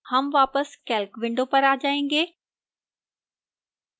हम वापस calc window पर आ जाएंगे